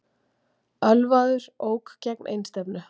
Ölvaður ók gegn einstefnu